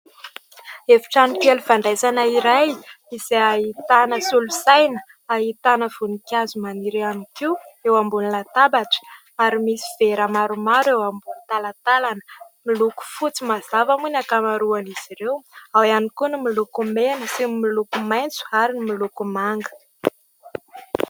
Efitrano kely fandraisana iray izay ahitana solosaina, ahitana voninkazo maniry ihany koa eo ambon'ny latabatra ary misy vera maromaro eo amin'ny talatalana. Miloko fotsy mazava moa ny ankamarohan' izy ireo, ao ihany koa no miloko mena sy miloko maintso ary ny miloko manga.